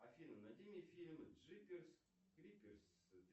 афина найди мне фильм джиперс криперс